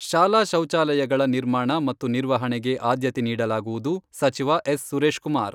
ಶಾಲಾ ಶೌಚಾಲಯಗಳ ನಿರ್ಮಾಣ ಮತ್ತು ನಿರ್ವಹಣೆಗೆ ಆದ್ಯತೆ ನೀಡಲಾಗುವುದು, ಸಚಿವ ಎಸ್ ಸುರೇಶ್ ಕುಮಾರ್.